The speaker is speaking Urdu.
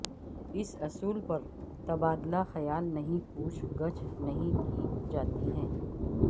اس اصول پر تبادلہ خیال نہیں پوچھ گچھ نہیں کی جاتی ہے